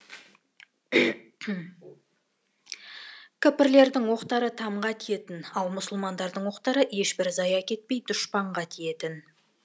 кәпірлердің оқтары тамға тиетін ал мұсылмандардың оқтары ешбір зая кетпей дұшпанға тиетін